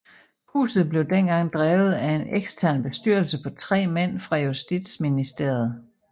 Huset blev dengang drevet af en ekstern bestyrelse på 3 mænd fra Justitsministeriet